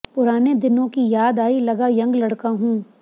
पुराने दिनों की याद आई लगा यंग लड़का हूं